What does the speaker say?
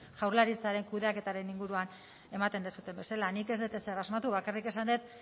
jaurlaritzaren kudeaketaren inguruan ematen duzuen bezala nik ez dut ezer asmatu bakarrik esan dut